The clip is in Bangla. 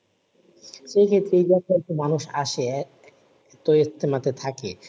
সে ক্ষেত্রে এইযে এত এত মানুষ আসে তো ইজতেমাতে থাকে।